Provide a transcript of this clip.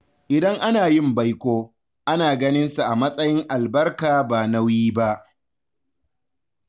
Idan ana yin baiko, ana ganinsa a matsayin albarka ba nauyi ba.